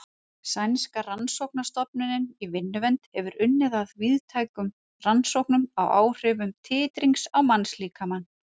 Sænska rannsóknastofnunin í vinnuvernd hefur unnið að víðtækum rannsóknum á áhrifum titrings á mannslíkamann.